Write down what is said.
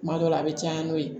Kuma dɔ la a bɛ caya n'o ye